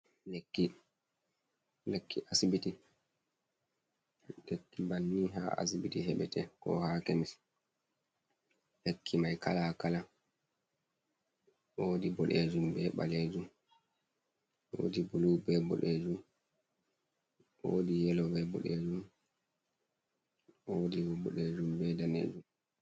Lekki, lekki asibiti, lekki banni ha asibiti heɓete, ko ha kemis, lekki mai kala kala wodi boɗejum be ɓalejum, wodi bulu be boɗejum, wodi yelo be boɗejum, wodi boɗejum be danejum.